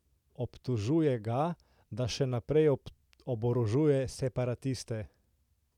Obtožuje ga, da še naprej oborožuje separatiste.